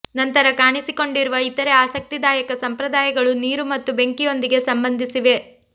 ನಂತರ ಕಾಣಿಸಿಕೊಂಡಿರುವ ಇತರೆ ಆಸಕ್ತಿದಾಯಕ ಸಂಪ್ರದಾಯಗಳು ನೀರು ಮತ್ತು ಬೆಂಕಿಯೊಂದಿಗೆ ಸಂಬಂಧಿಸಿವೆ